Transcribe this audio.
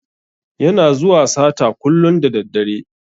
Yana zuwa sata kullun da daddare.